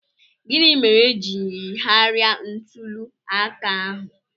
Gịnị mere e ji yigharịa ntuli aka ahụ?